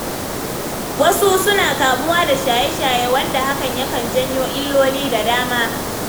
Wasu suna kamuwa da shaye-shaye, wanda hakan yakan janyo illoli da dama.